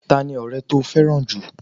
Ta ni ọrẹ to fẹ́ràn jù?